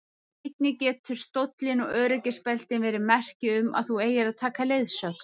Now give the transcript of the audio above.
Einnig geta stóllinn og öryggisbeltin verið merki um að þú eigir að taka leiðsögn.